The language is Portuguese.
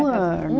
Um ano.